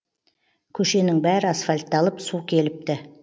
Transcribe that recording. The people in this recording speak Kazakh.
көшенің бәрі асфальтталып су келіпті